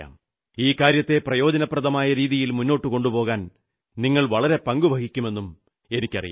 ഈ കാര്യത്തെ പ്രയോജനപ്രദമായ രീതിയിൽ മുന്നോട്ടു കൊണ്ടുപോകാൻ നിങ്ങൾ വളരെ പങ്കുവഹിക്കുന്നെന്നും എനിക്കറിയാം